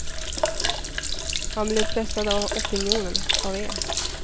Han blev pressad av opinionen, av er.